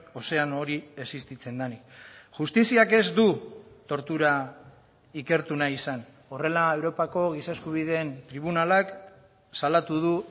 ozeano hori existitzen denik justiziak ez du tortura ikertu nahi izan horrela europako giza eskubideen tribunalak salatu du